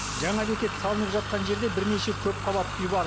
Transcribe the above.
жаңа бекет салынып жатқан жерде бірнеше көпқабатты үй бар